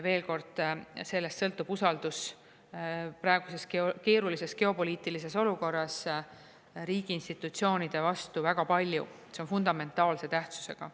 Veel kord: sellest sõltub usaldus praeguses keerulises geopoliitilises olukorras riigi institutsioonide vastu väga palju, see on fundamentaalse tähtsusega.